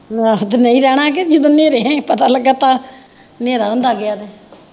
ਆਹੋ ਨਹੀਂ ਰਹਿਣਾ ਤੇ ਹਨੇਰੇ ਪਤਾ ਲੱਗਾ ਤਾਂ ਹਨੇਰਾ ਹੁੰਦਾ ਪਿਆ ਵਾ।